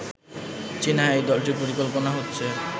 চীনা এই দলটির পরিকল্পনা হচ্ছে